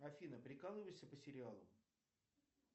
афина прикалываешься по сериалу